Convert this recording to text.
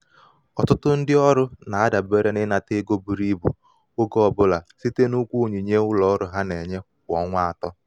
ọtụtụ ndị ọrụ na-adabere n’ịnata ego buru ibu oge ọ bụla site n’ụgwọ onyinye onyinye ụlọ ọrụ ha na-enye kwa ọnwa atọ.